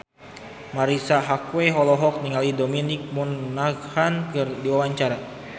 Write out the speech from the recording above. Marisa Haque olohok ningali Dominic Monaghan keur diwawancara